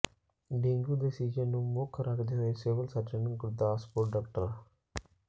dengue ਦੇ season ਨੂੰ ਮੁੱਖ ਰੱਖਦੇ ਹੋਏ ਸਿਵਲ ਸਰਜਨ ਗੁਰਦਾਸਪੁਰ ਡਾ